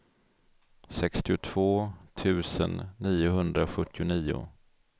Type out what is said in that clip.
sextiotvå tusen niohundrasjuttionio